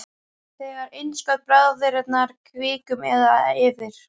Þegar innskot bráðinnar kviku, um eða yfir